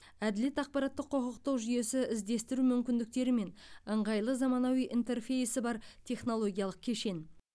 әділет ақпараттық құқықтық жүйесі іздестіру мүмкіндіктері мен ыңғайлы заманауи интерфейсі бар технологиялық кешен